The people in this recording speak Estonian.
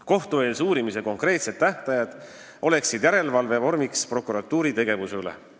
Kohtueelse uurimise konkreetsed tähtajad oleks järelevalve vorm prokuratuuri tegevuse üle.